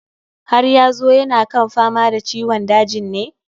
Haryazu yana kan fama da ciwon dajin ne?